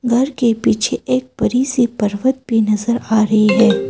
घर के पीछे एक बड़ी सी पर्वत भी नजर आ रही है।